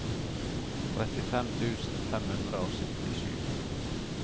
trettifem tusen fem hundre og syttisju